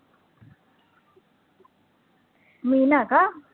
मीना का?